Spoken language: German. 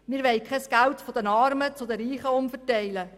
Wir wollen kein Geld von den Armen an die Reichen umverteilen.